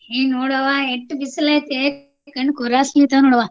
ಹೇ ನೋಡವಾ ಎಷ್ಟ್ ಬಿಸಲೇತೇ ಕಣ್ ಕೋರೈಸ್ಲೀಕ್ತವ್ ನೋಡವಾ.